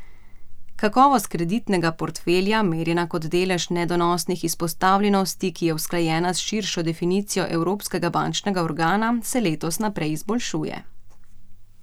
Kakovost kreditnega portfelja, merjena kot delež nedonosnih izpostavljenosti, ki je usklajena s širšo definicijo Evropskega bančnega organa, se letos naprej izboljšuje.